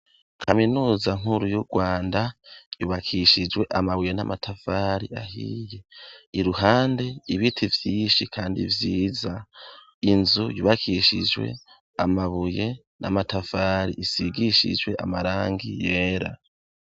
Kaminuza nkuru y'URwanda yubakishijwe amabuye n'amatafari ahiye. Iruhande ibiti vyinshi kandi vyiza. Inzu yubakishijwe amabuye n'amatafari isigishijwe amarangi yera.